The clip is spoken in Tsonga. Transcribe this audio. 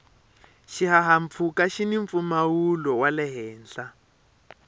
xihahampfhuka xini mpfumawulo wale henhla